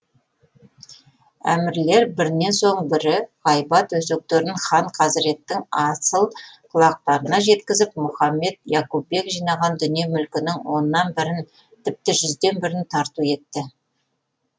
әмірлер бірінен соң бірі ғайбат өсектерін хан хазреттің асыл құлақтарына жеткізіп мұхаммед яқупбек жинаған дүние мүлкінің оннан бірін тіпті жүзден бірін тарту етті